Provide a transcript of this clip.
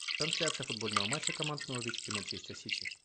трансляция футбольного матча команд норвич и манчестер сити